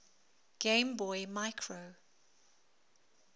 game boy micro